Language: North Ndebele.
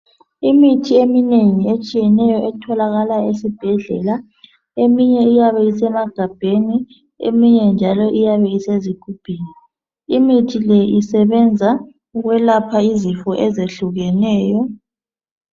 Imithi eminengi etshiyeneyo etholakala esibhedlela, eminye iyabe isemagabheni, eminye njalo iyabe isezigubhini. Imithi le isebenza ukwelapha izifo ezehlukeneyo.